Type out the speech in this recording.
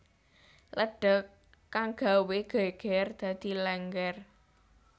lédhék kang gawé gégér dadi Lénggér